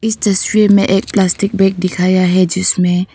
तस्वीर में एक प्लास्टिक बैग दिखाया है जिसमें--